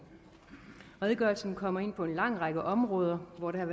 redegørelsen kommer ind på en lang række områder hvor der er